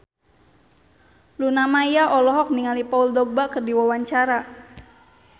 Luna Maya olohok ningali Paul Dogba keur diwawancara